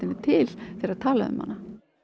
er til þegar talað er um hana